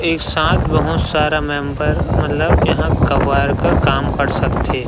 एक साथ बहुत सारा मेम्बर मतलब यहाँ कबाड़ का काम कर सकथे --